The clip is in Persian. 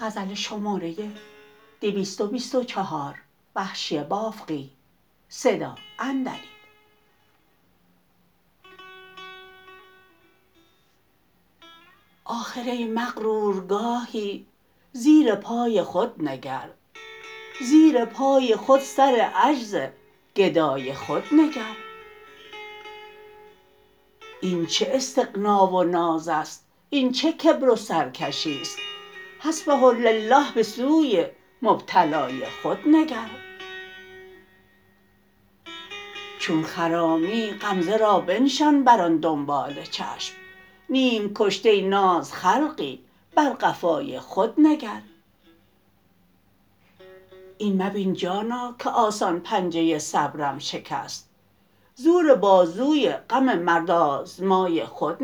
آخر ای مغرور گاهی زیر پای خود نگر زیر پای خود سر عجز گدای خود نگر این چه استغنا و ناز است این چه کبر و سرکشیست حسبه لله به سوی مبتلای خود نگر چون خرامی غمزه را بنشان بر آن دنبال چشم نیم کشته ناز خلقی بر قفای خود نگر این مبین جانا که آسان پنجه صبرم شکست زور بازوی غم مرد آزمای خود